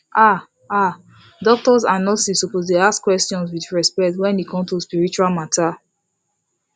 ah ah doctors and nurses suppose dey ask questions with respect wen e come to spiritual matter